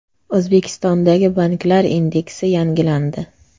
O‘zbekistondagi banklar indeksi yangilandi.